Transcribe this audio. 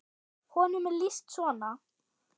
Honum er lýst svona